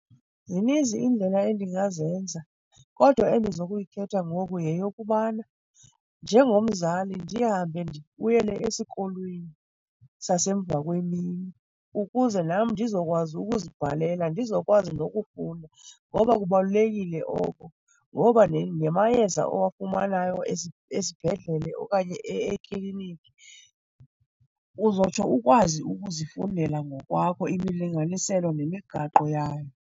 Zininzi iindlela endingazenza kodwa endizokuyikhetha ngoku yeyokubana njengomzali ndihambe ndibuyele esikolweni sasemva kwemini ukuze nam ndizokwazi ukuzibhalela, ndizokwazi nokufunda, ngoba kubalulekile oko. Ngoba nemayeza owafumanayo esibhedlele okanye ekliniki uzotsho ukwazi ukuzifundela ngokwakho imilinganiselo nemigaqo yayo.